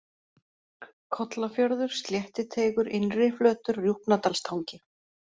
Kollafjörður, Sléttiteigur, Innriflötur, Rjúpnadalstangi